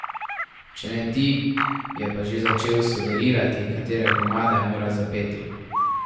Če ne, ti je pa že začel sugerirati, katere komade moraš zapeti.